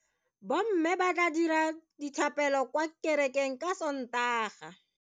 Bomme ba tla dira dithapelo kwa kerekeng ka Sontaga.